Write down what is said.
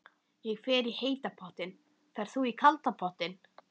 Ég fer í heita pottinn. Ferð þú í kalda pottinn?